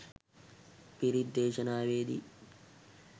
පිරිත් දේශනාවේදි